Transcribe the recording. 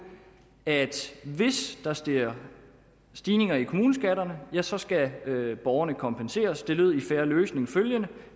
at hvis der sker stigninger i kommuneskatterne ja så skal borgerne kompenseres det lød i en fair løsning